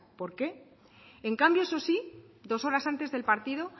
por qué en cambio eso sí dos horas antes del partido